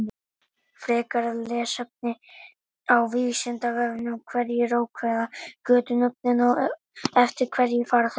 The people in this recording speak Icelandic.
Frekara lesefni á Vísindavefnum: Hverjir ákveða götunöfnin og eftir hverju fara þau?